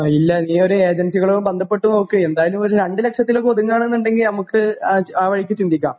ഇല്ല നീ ഒരു ഏജൻസികളു ബന്ധപ്പെട്ട് നോക്ക് എന്തായാലും ഒരു രണ്ടു ലക്ഷത്തിലൊക്കെ ഒതുങ്ങുകയാണെന്നുണ്ടെങ്കിൽ നമുക്ക് ആ വഴിക്ക് ചിന്തിക്കാം